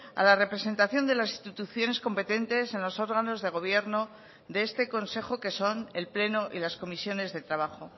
a la representación de las instituciones competentes en los órganos de gobierno de este consejo que son el pleno y las comisiones de trabajo